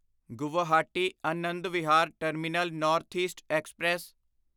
Guwahati Anand Vihar terminal north east express